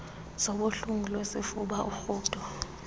zobuhlungu besifuba urhudo